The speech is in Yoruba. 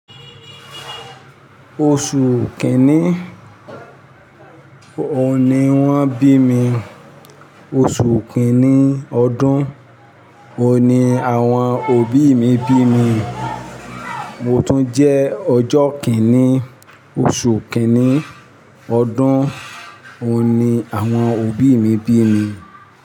Oṣù kìíní ohun ni wọ́n bí mi. Oṣù kìíní ọdún o ni àwọn òbí mi bí mi. Mo tún jẹ́ ọjọ́ kìíní oṣù kìíní ọdún ohun ni àwọn òbí mi bí mi.